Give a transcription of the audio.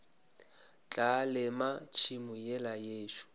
tla lema tšhemo yela yešo